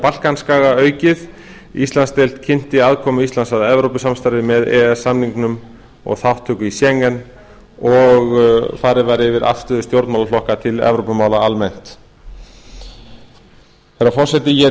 balkanskaga aukið íslandsdeild kynnti aðkomu íslands að evrópusamstarfi með e e s samningnum og þátttöku í schengen og farið var yfir afstöðu stjórnmálaflokkanna til evrópumála almennt herra forseti ég